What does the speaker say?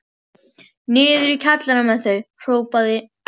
Niður í kjallara með þau hrópaði